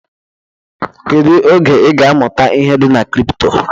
Kedu oge ị ga amụta ihe dị na kripto?